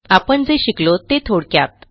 आपण जे शिकलो ते थोडक्यात